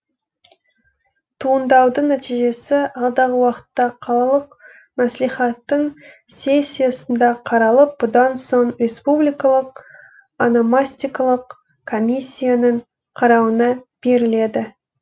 туыңдаудың нәтижесі алдағы уақытта қалалық мәслихаттың сессиясында қаралып бұдан соң республикалық ономастикалық комиссияның қарауына беріледі